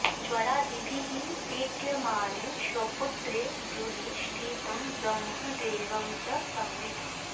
ज्वरादिभिः पीड्यमाने स्वपुत्रे गृहे स्थितं ब्रह्मदेवं च सम्यक्